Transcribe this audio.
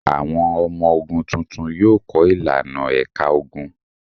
Àwọn ọmọ ogun tuntun yóò kọ́ ìlànà ẹ̀ka ogun.